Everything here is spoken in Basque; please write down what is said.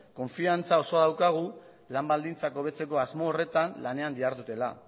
konfiantza osoa daukagu lan baldintzak hobetzeko asmo horretan lanean dihardutela